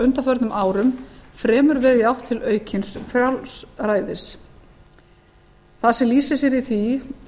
undanförnum árum fremur verið í átt til aukins frjálsræðis það lýsir sér í því